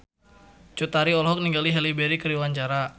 Cut Tari olohok ningali Halle Berry keur diwawancara